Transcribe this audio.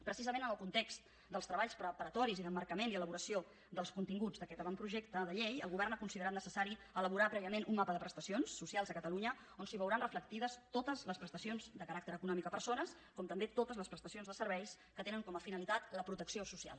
precisament en el context dels treballs preparatoris i d’emmarcament i elaboració dels continguts d’aquest avantprojecte de llei el govern ha considerat necessari elaborar prèviament un mapa de prestacions socials a catalunya on es veuran reflectides totes les prestacions de caràcter econòmic a persones com també totes les prestacions de serveis que tenen com a finalitat la protecció social